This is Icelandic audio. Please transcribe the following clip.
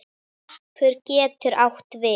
Hnappur getur átt við